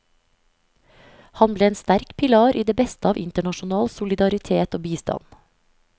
Han ble en sterk pilar i det beste av internasjonal solidaritet og bistand.